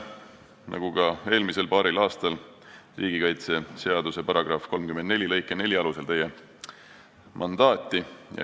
Nagu ka eelmisel paaril aastal me taotleme riigikaitseseaduse § 34 lõike 4 alusel teie mandaati.